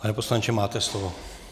Pane poslanče, máte slovo.